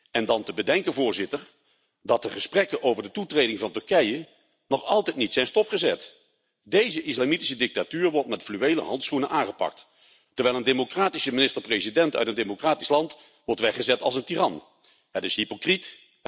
En dan te bedenken dat de gesprekken over de toetreding van Turkije nog altijd niet zijn stopgezet. Deze islamitische dictatuur wordt met fluwelen handschoenen aangepakt, terwijl een democratische minister president uit een democratisch land wordt weggezet als een tiran. Het is hypocriet.